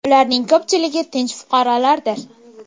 Ularning ko‘pchiligi tinch fuqarolardir.